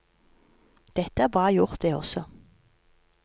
Det er bra gjort, det også.